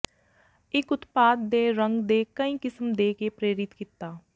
ਇਕ ਉਤਪਾਦ ਦੇ ਰੰਗ ਦੇ ਕਈ ਕਿਸਮ ਦੇ ਕੇ ਪ੍ਰੇਰਿਤ ਕੀਤਾ